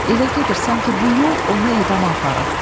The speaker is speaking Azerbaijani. Elə gedir, sanki bu yol onu edama aparır.